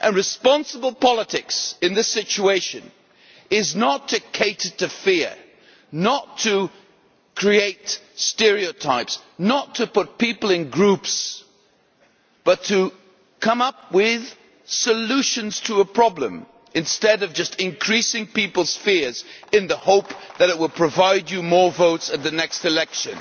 Responsible politics in this situation is not to cater to fear, not to create stereotypes, not to put people in groups, but to come up with solutions to a problem instead of just increasing people's fears in the hope that it will provide you with more votes at the next election.